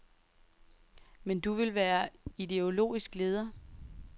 Men du vil være ideologisk leder.